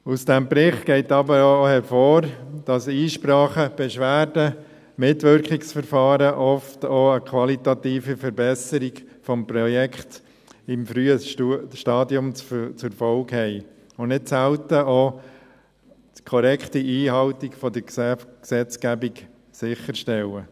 Aus diesem Bericht geht aber auch hervor, dass Einsprachen, Beschwerden, Mitwirkungsverfahren oft auch eine qualitative Verbesserung des Projekts im frühen Stadium zur Folge haben und nicht selten auch das korrekte Einhalten der Gesetzgebung sicherstellen.